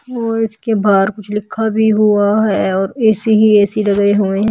और उसके बाहर कुछ लिखा भी हुआ है और ए_सी ही ए_सी लगे हुए हैं।